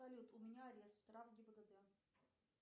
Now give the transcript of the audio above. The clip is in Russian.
салют у меня арест штраф гибдд